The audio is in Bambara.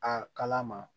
A kala ma